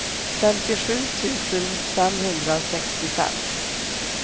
femtiosju tusen femhundrasextiofem